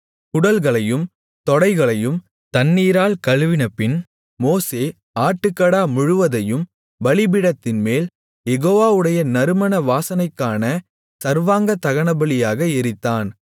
குடல்களையும் தொடைகளையும் தண்ணீரால் கழுவினபின் மோசே ஆட்டுக்கடா முழுவதையும் பலிபீடத்தின்மேல் யெகோவாவுடைய நறுமண வாசனைக்கான சர்வாங்க தகனபலியாக எரித்தான்